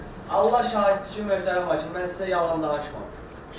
Mən Allah şahiddir ki, möhtərəm hakim, mən sizə yalan danışmamışam.